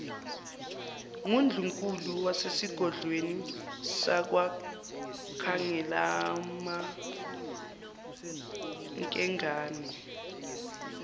ngundlunkulu wasesigodlweni sakwakhangelamankengane